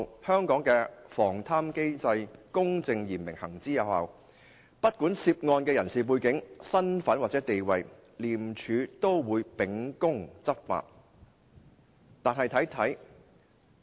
香港的防貪機制公正嚴明，行之有效，不管涉案人士的背景、身份或者地位，廉政公署均會秉公執法"。